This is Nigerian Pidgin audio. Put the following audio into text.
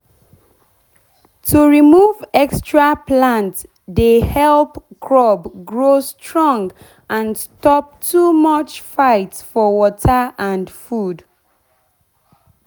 to remove extra plant dey help crop grow strong and stop too much fight for water and food